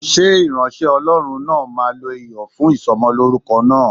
Ṣé ìránṣẹ́ Ọlọ́run náà máa lo Iyọ̀ fún Ìsọmọlórúkọ náà?